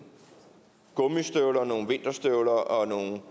gummistøvler nogle vinterstøvler og nogle